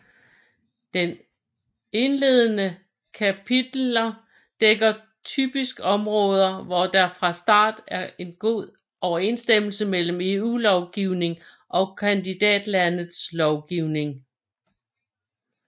Den indledende kapiteler dækker typisk områder hvor der fra starten er god overensstemmelse mellem EU lovgivning og kandidatlandets lovgivning